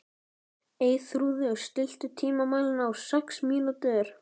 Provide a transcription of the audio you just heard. Eyþrúður, stilltu tímamælinn á sex mínútur.